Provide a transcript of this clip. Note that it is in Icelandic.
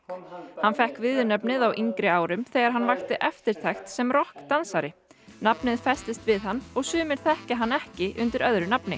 hann fékk viðurnefnið á yngri árum þegar hann vakti eftirtekt sem rokk dansari nafnið festist við hann og sumir þekkja hann ekki undir öðru nafni